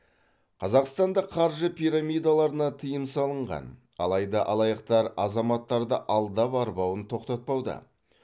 қазақстанда қаржы пирамидаларына тыйым салынған алайда алаяқтар азаматтарды алдап арбауын тоқтатпауда